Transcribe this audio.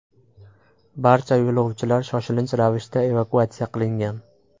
Barcha yo‘lovchilar shoshilinch ravishda evakuatsiya qilingan.